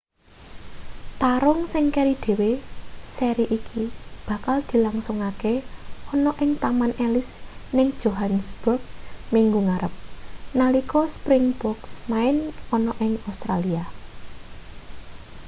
tarung sing keri dhewe seri iki bakal dilangsungke ana ing taman ellis ning johannesburg minggu ngarep nalika springboks main ana ing australia